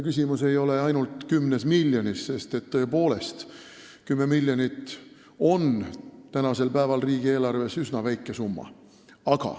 Küsimus ei ole ainult 10 miljonis, sest tõepoolest, 10 miljonit eurot riigieelarves on praegusel ajal üsna väike summa.